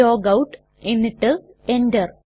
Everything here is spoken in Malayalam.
ലോഗൌട്ട് എന്നിട്ട് Enter